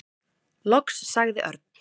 Loks sagði Örn.